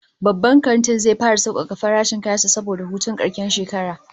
The shopping mall will start a promotion season because of New Year holidays